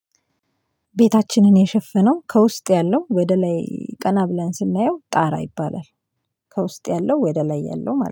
ቤታችንን የሸፈነው ከውስጥ ያለው ወደ ላይ ቀና ብለን ስናየው ጣራ ይባላል። ከውስጥ ያለው ወደ ላይ ያለው ማለት ነው